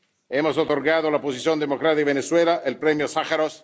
Hemos otorgado a la oposición democrática de Venezuela el Premio Sájarov